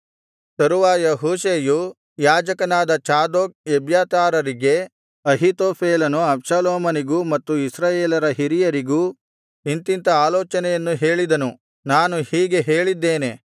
ತರುವಾಯ ಹೂಷೈಯು ಯಾಜಕನಾದ ಚಾದೋಕ್ ಎಬ್ಯಾತಾರರಿಗೆ ಅಹೀತೋಫೆಲನು ಅಬ್ಷಾಲೋಮನಿಗೂ ಮತ್ತು ಇಸ್ರಾಯೇಲರ ಹಿರಿಯರಿಗೂ ಇಂಥಿಂಥ ಆಲೋಚನೆಯನ್ನು ಹೇಳಿದನು ನಾನು ಹೀಗೆ ಹೇಳಿದ್ದೇನೆ